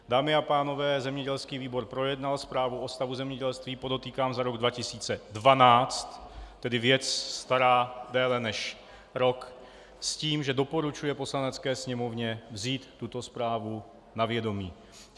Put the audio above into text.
Dámy a pánové, zemědělský výbor projednal zprávu o stavu zemědělství - podotýkám za rok 2012, tedy věc starou déle než rok - s tím, že doporučuje Poslanecké sněmovně vzít tuto zprávu na vědomí.